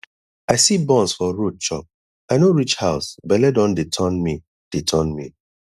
i see buns for road chop i no reach house bele don dey turn me dey turn me